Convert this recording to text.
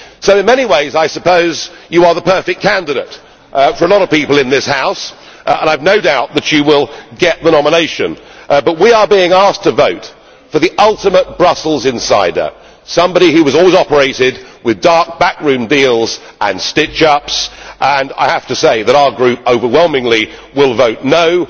So in many ways you are the perfect candidate for a lot of people in this House and I have no doubt that you will get the nomination, but we are being asked to vote for the ultimate Brussels insider, somebody who has always operated with dark backroom deals and stitch ups, and I have to say that our group overwhelmingly will vote no'.